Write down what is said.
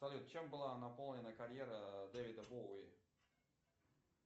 салют чем была наполнена карьера дэвида боуи